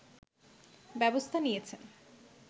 ব্যবস্থা নিয়েছেন